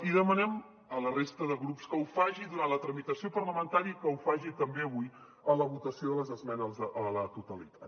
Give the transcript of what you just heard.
i demanem a la resta de grups que ho faci durant la tramitació parlamentària i que ho faci també avui a la votació de les esmenes a la totalitat